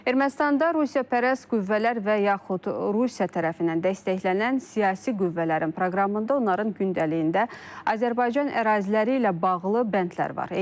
Ermənistanda rusiyapərəst qüvvələr və yaxud Rusiya tərəfindən dəstəklənən siyasi qüvvələrin proqramında, onların gündəliyində Azərbaycan əraziləri ilə bağlı bəndlər var.